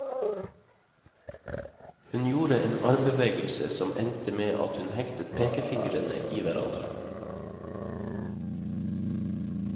Hun gjorde en armbevegelse som endte med at hun hektet pekefingrene i hverandre.